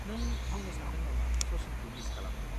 नों बुंनो सानदों नामा सचिनखौ मिस खालामो।